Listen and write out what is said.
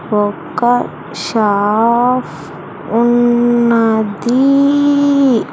ఒక షాఫ్ ఉన్నది.